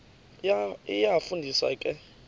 iyafu ndisa ke